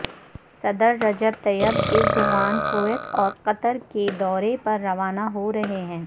صدر Recep Tayyip Erdogan Kuwait اور Qatar کے دورے پر روانہ ہو رہے ہیں